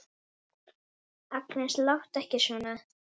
Agnes, láttu ekki svona!